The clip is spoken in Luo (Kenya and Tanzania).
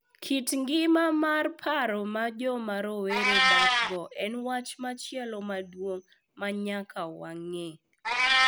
Kit ngima mar paro ma joma rowere dakgo en wach machielo maduong’ ma nyaka wang’e.